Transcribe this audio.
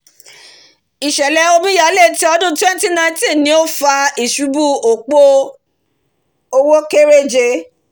ìsẹ̀lẹ̀ omíyalé ti ọdún twenty nineteen ni ó fa ìṣubú òpo òwò kéréje